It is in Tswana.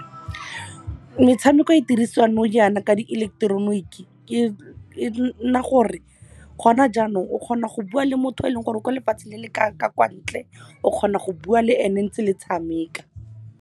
Metshameko e dirisiwang nou yana ka dieleketeroniki, e nna gore gona jaanong o kgona go bua le motho yo eleng gore kwa lefatshe le ka kwa ntle, o kgona go bua le ene ntse le tshameka.